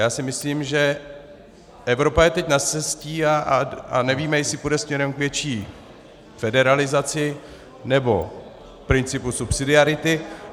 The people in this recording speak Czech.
Já si myslím, že Evropa je teď za scestí a nevíme, jestli půjde směrem k větší federalizaci, nebo principu subsidiarity.